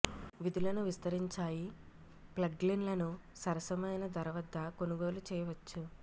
విధులను విస్తరించాయి ప్లగిన్లను సరసమైన ధర వద్ద కొనుగోలు చేయవచ్చు